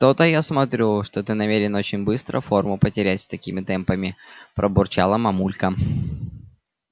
то-то я смотрю что ты намерен очень быстро форму потерять с такими темпами пробурчала мамулька